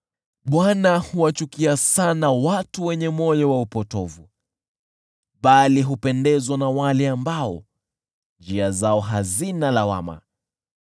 Bwana huwachukia sana watu wenye moyo wa upotovu, bali hupendezwa na wale ambao njia zao hazina lawama.